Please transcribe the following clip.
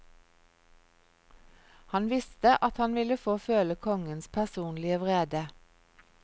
Han visste at han ville få føle kongens personlige vrede.